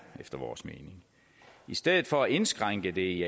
efter vores mening i stedet for at indskrænke det i